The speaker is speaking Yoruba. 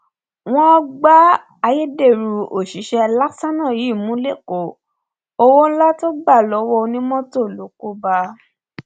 wọn gbá ayédèrú òṣìṣẹ lastana yìí mú lẹkọọ owó ńlá tó gbà lọwọ onímọtò ló kó bá a